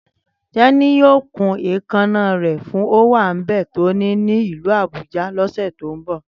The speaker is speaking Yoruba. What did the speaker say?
Tẹ́ní yóò kún èékánná rẹ̀ fún ówàńbé tó ní ní ìlú Abuja lọ́sẹ̀ tó ń bọ̀